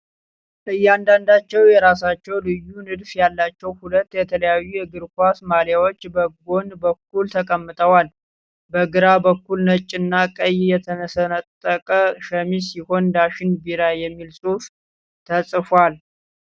እያንዳንዳቸው የራሳቸው ልዩ ንድፍ ያላቸው ሁለት የተለያዩ የእግር ኳስ ማሊያዎች በጎን በኩል ተቀምጠዋል። በግራ በኩል ነጭና ቀይ የተሰነጠቀ ሸሚዝ ሲሆን "ዳሽን ቢራ" የሚል ጽሑፍ ተጽፏል።